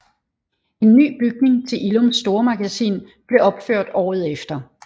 En ny bygning til Illums stormagasin blev opført året efter